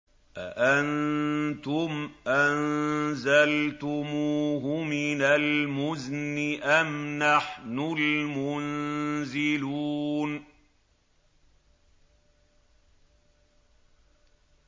أَأَنتُمْ أَنزَلْتُمُوهُ مِنَ الْمُزْنِ أَمْ نَحْنُ الْمُنزِلُونَ